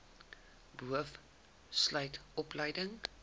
boov sluit opleiding